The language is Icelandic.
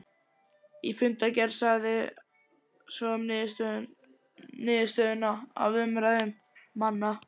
Í fundargerð sagði svo um niðurstöðu af umræðum manna